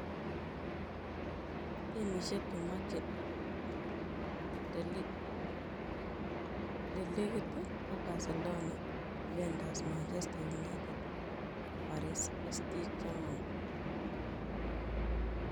Timisiek che machei De Ligt ko Barcelona, Juventus, Manchester United am Paris St-Germain.